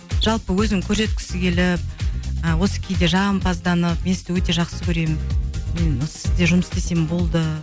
жалпы өзін көрсеткісі келіп ы осы кейде жағымпазданып мен сізді өте жақсы көремін мен сізде жұмыс істесем болды